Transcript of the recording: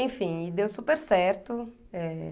Enfim, e deu super certo. É...